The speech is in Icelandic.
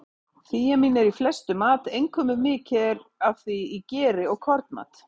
Þíamín er í flestum mat, einkum er mikið af því í geri og kornmat.